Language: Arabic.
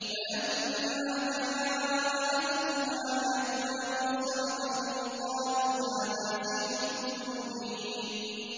فَلَمَّا جَاءَتْهُمْ آيَاتُنَا مُبْصِرَةً قَالُوا هَٰذَا سِحْرٌ مُّبِينٌ